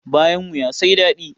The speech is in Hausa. Bayan wuya sai dadi.